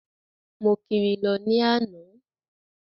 Mo kiri lọ ní àná.